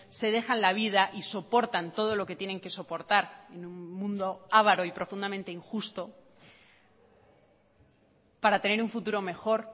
se dejan la vida y soportan todo lo que tienen que soportar en un mundo avaro y profundamente injusto para tener un futuro mejor